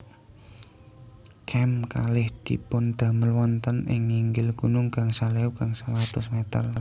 Camp kalih dipun damel wonten ing inggil gunung gangsal ewu gangsal atus meter